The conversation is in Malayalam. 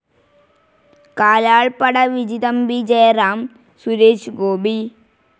കാലാൾപ്പട വിജിതമ്പി ജയറാം, സുരേഷ് ഗോപി